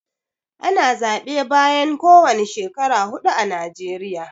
Ana zaɓe bayan kowani shekara huɗu a najeriya.